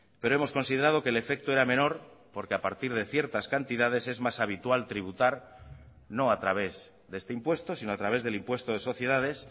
pero hemos considerado que el efecto era menor porque a partir de ciertas cantidades es más habitual tributar no a través de este impuesto sino a través del impuesto de sociedades